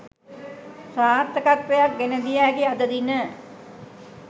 සාර්ථකත්වයක් ගෙනදිය හැකි අද දින